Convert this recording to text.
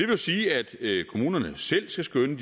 jo sige at kommunerne selv skal skønne